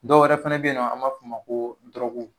Dɔ wɛrɛ fɛnɛ be yen n'an b'a f'o ma ko dɔrɔgu.